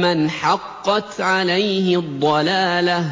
مَّنْ حَقَّتْ عَلَيْهِ الضَّلَالَةُ ۚ